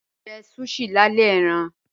Mo jẹ̀ sushi làlẹ̀ ẹ̀ran.